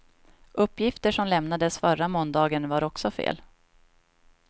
Uppgifter som lämnades förra måndagen var också fel.